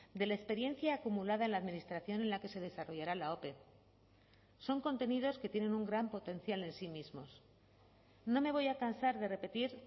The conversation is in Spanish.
de la experiencia acumulada en la administración en la que se desarrollará la ope son contenidos que tienen un gran potencial en sí mismos no me voy a cansar de repetir